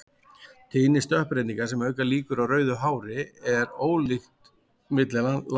Tíðni stökkbreytinga sem auka líkur á rauðu hári er ólík milli landsvæða.